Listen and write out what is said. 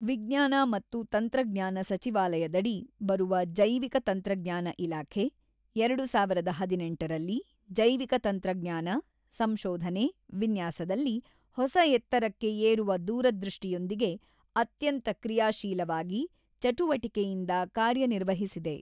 ವಿಜ್ಞಾನ ಮತ್ತು ತಂತ್ರಜ್ಞಾನ ಸಚಿವಾಲಯದಡಿ ಬರುವ ಜೈವಿಕ ತಂತ್ರಜ್ಞಾನ ಇಲಾಖೆ ಎರಡು ಸಾವಿರದ ಹದಿನೆಂಟರಲ್ಲಿ ಜೈವಿಕ ತಂತ್ರಜ್ಞಾನ, ಸಂಶೋಧನೆ, ವಿನ್ಯಾಸದಲ್ಲಿ ಹೊಸ ಎತ್ತರಕ್ಕೆ ಏರುವ ದೂರದೃಷ್ಟಿಯೊಂದಿಗೆ ಅತ್ಯಂತ ಕ್ರಿಯಾಶೀಲವಾಗಿ ಚಟುವಟಿಕೆಯಿಂದ ಕಾರ್ಯನಿರ್ವಹಿಸಿದೆ.